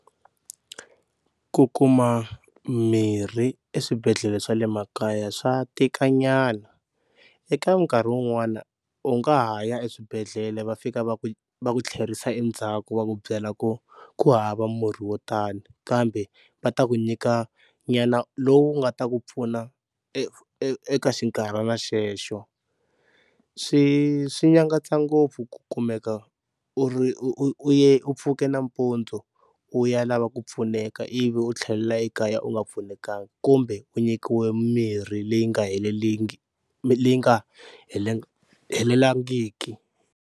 Ku kuma mirhi eswibedhlele swa le makaya swa tikanyana eka nkarhi wun'wana u nga ha ya eswibedhlele va fika va ku va ku tlherisa endzhaku va ku byela ku ku hava murhi wo tani, kambe va ta ku nyikanyana lowu nga ta ku pfuna e eka xinkarhana xexo. Swi swi nyangatsa ngopfu ku kumeka u u ri u ya u pfuka nampundzu ku u ya lava ku pfuneka ivi u tlhela ekaya u nga pfunekangi kumbe u nyikiwe mirhi leyi nga leyi nga helelangiki.